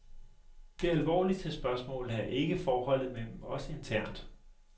Det alvorligste spørgsmål er ikke forholdet mellem os internt.